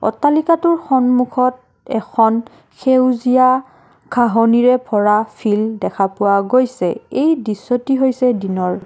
অট্টালিকাটোৰ সন্মুখত এখন সেউজীয়া ঘাঁহনিৰে ভৰা ফিল্ড দেখা পোৱা গৈছে এই দৃশ্যটি হৈছে দিনৰ।